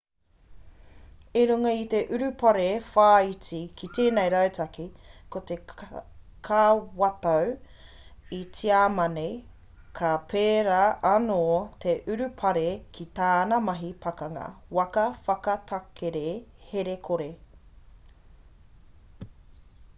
i runga i te urupare whāiti ki tēnei rautaki ko te kawatau a tiamani ka pērā anō te urupare ki tāna mahi pakanga waka whakatakere here kore